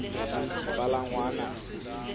dipalangwang